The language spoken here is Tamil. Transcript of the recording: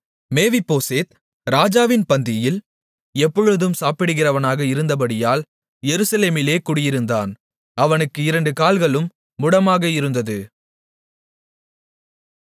மேவிபோசேத் ராஜாவின் பந்தியில் எப்பொழுதும் சாப்பிடுகிறவனாக இருந்தபடியால் எருசலேமிலே குடியிருந்தான் அவனுக்கு இரண்டு கால்களும் முடமாக இருந்தது